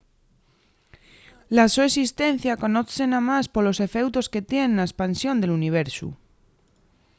la so esistencia conozse namás polos efeutos que tien na espansión del universu